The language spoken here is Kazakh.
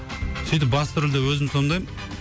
сөйтіп басты рөлде өзім сомдаймын